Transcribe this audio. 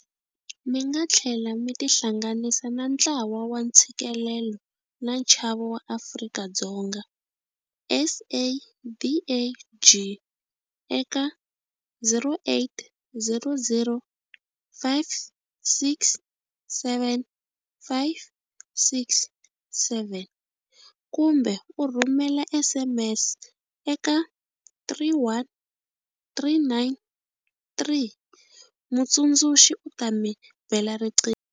Mi nga tlhela mi tihlanganisa na Ntlawa wa Ntshikelelo na Nchavo wa Afrika-Dzonga, SADAG, eka 0800 567 567 kumbe ku rhumela SMS eka 31393, mutsundzuxi u ta mi bela riqingho.